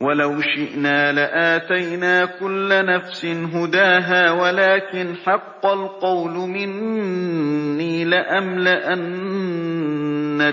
وَلَوْ شِئْنَا لَآتَيْنَا كُلَّ نَفْسٍ هُدَاهَا وَلَٰكِنْ حَقَّ الْقَوْلُ مِنِّي لَأَمْلَأَنَّ